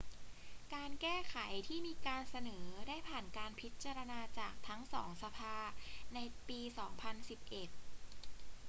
การแก้ไขที่มีการเสนอได้ผ่านการพิจารณาจากทั้งสองสภาในปี 2011